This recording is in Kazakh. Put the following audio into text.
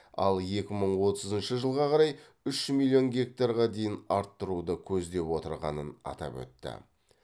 ал екі мың отызыншы жылға қарай үш миллион гектарға дейін арттыруды көздеп отырғанын атап өтті